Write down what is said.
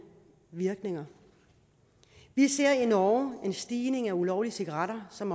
virkninger vi ser i norge en stigning af ulovlige cigaretter som